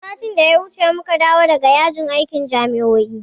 Satin da ya wuce muka dawo daga yajin aikin jami'o'i.